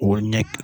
O ɲɛ